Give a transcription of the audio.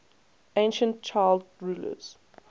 ancient child rulers